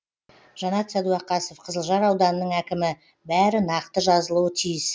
жанат сәдуақасов қызылжар ауданының әкімі бәрі нақты жазылуы тиіс